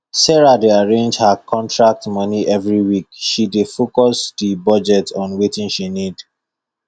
sarah dey arrange her contract moni every week she dey focus di budget on wetin she need